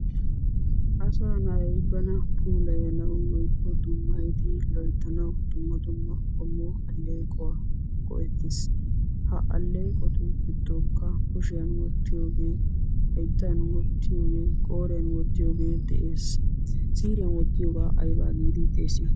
Asaa na'ay bana puulayanawu woykko dummayidi loyttanawu dumma dumma qommo aleequwa go'ettees. Ha aleeqotu gidonikka kushiyan wottiyoogee, hayttan wottiyoogee qooriyan wottiyoogee de'ees. Siiriyan wottiyogaa aybaa giidi xeesiyoo?